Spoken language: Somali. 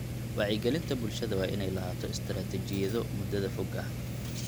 Wacyigelinta bulshada waa inay lahaato istiraatiijiyado muddada fog ah.